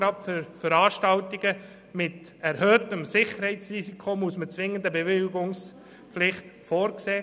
Für Veranstaltungen mit erhöhtem Sicherheitsrisiko muss man jedoch zwingend eine Bewilligungspflicht vorsehen.